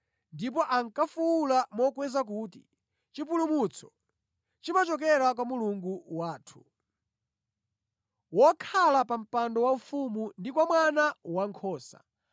Ndipo ankafuwula mokweza kuti: “Chipulumutso chimachokera kwa Mulungu wathu, wokhala pa mpando waufumu ndi kwa Mwana Wankhosa.”